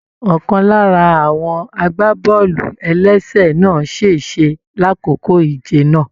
Ọkan lára àwọn agbábọọlu-ẹlẹsẹ na sese l'akoko ìje náà.